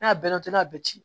N'a bɛɛ n'a toli a bɛ ci